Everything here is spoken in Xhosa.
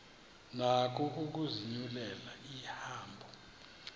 nako ukuzinyulela ihambo